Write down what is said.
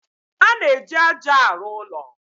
A na-eji ájá arụ ụlọ.